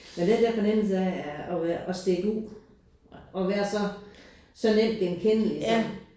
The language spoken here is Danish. Men den der fornemmelse af at at være at stikke ud og være så så nemt genkendelig så